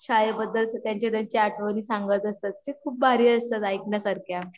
शाळेबद्दल त्यांच्या त्यांच्या आठवणी सांगत असतात ते खूप भारी असता ऐकण्या सारख्या